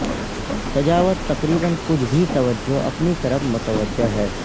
سجاوٹ تقریبا کچھ بھی توجہ اپنی طرف متوجہ ہے